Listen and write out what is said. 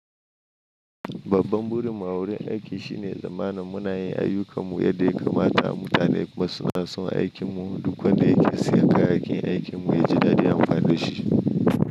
Babban burin mu a wurin aiki shine tsanmanin munayin ayyukanmu yadda ya kamata, mutane kuma suna son aikinmu duk wanda yake siya kayayyakin aikin mu ya ji daɗi anmmfani da shi.